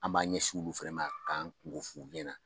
An b'an ɲɛsin olu fɛnɛ ma k'an kunko f'olu ɲɛna